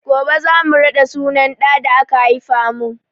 Gobe za mu raɗa sunan ɗa da ka haifa mun